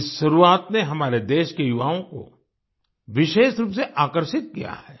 इस शुरुआत ने हमारे देश के युवाओं को विशेष रूप से आकर्षित किया है